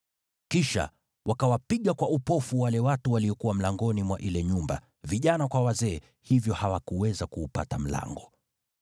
Kisha wakawapiga kwa upofu wale watu waliokuwa mlangoni mwa ile nyumba, vijana kwa wazee, hivyo hawakuweza kuupata mlango.